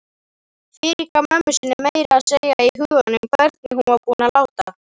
Fyrirgaf mömmu sinni meira að segja í huganum hvernig hún var búin að láta.